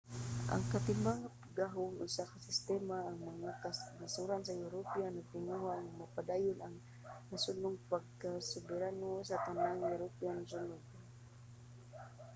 ang katimbang sa gahom usa ka sistema diin ang mga kanasoran sa europa nagtinguha nga mapadayon ang nasodnong pagkasoberano sa tanang europanhong nasod